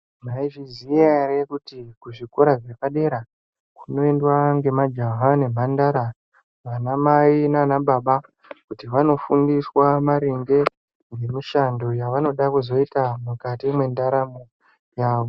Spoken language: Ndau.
Mwaizviziya ere kuti muzvikora zvepadera kunoendwa ngemamajaha nemhandara, anamai naana baba kuti vanofundiswa maringe nemishando yaanoda kuzoita mukati mwedaramo yavo.